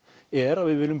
er að við viljum